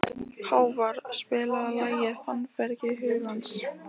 Hávarr, spilaðu lagið „Fannfergi hugans“.